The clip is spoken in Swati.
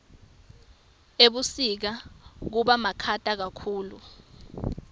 ebusika kubamakhata kakhulu